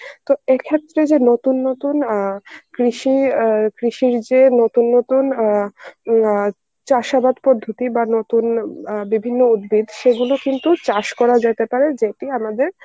তো এক্ষেত্রে যে নতুন নতুন অ্যাঁ কৃষি অ্যাঁ কৃষির যে নতুন নতুন অ্যাঁ অ্যাঁ চাষাবাদ পদ্ধতি বা নতুন অ্যাঁ বিভিন্ন উদ্ভিদ সেগুলো কিন্তু চাষ করা যেতে পারে যেটি আমাদের